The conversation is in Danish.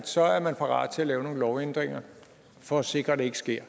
så er man parat til at lave nogle lovændringer for at sikre at det ikke sker